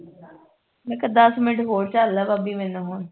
ਮੈਂ ਕਿਹਾ ਦੱਸ ਮਿੰਟ ਹੋਰ ਝੱਲ ਲੈ ਭਾਭੀ ਮੈਨੂੰ ਹੁਣ